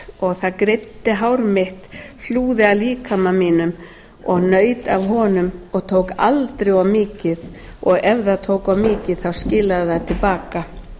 sátt og það greiddi hár mitt hlúði að líkama mínum og naut af honum og tók aldrei of mikið og ef það tók of mikið skilaði það til baka